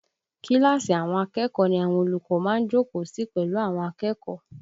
Kíláàsì àwọn akẹ́kọ̀ọ́ ni àwọn olùkọ́ má ń jókòó sí pẹ̀lú àwọn akẹ́kọ̀ọ́